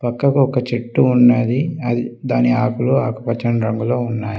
పక్కకు ఒక చెట్టు ఉన్నది అది దాని ఆకులు ఆకుపచ్చని రంగులో ఉన్నాయి.